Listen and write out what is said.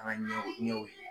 An ka ɲɛw